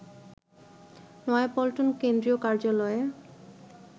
নয়াপল্টন কেন্দ্রীয় কার্যালয়ে